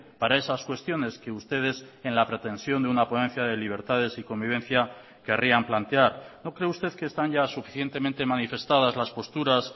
para esas cuestiones que ustedes en la pretensión de una ponencia de libertades y convivencia querrían plantear no cree usted que están ya suficientemente manifestadas las posturas